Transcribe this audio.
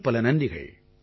பலப்பல நன்றிகள்